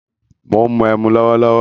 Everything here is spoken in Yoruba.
Mó ń mu ẹmu lọwọlọwọ